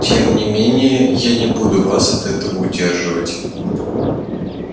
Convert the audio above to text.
тем не менее я не буду вас от этого удерживать